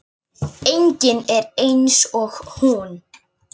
Enginn er eins og hún.